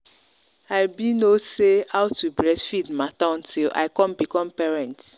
i been no no say how to breastfeed matter until i come become parent.